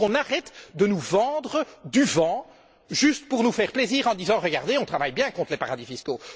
Qu'on arrête de nous vendre du vent juste pour nous faire plaisir, en nous disant regardez, on travaille bien contre les paradis fiscaux.